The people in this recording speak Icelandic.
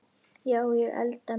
Já, ég elda mjög mikið.